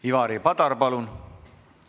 Ivari Padar, palun!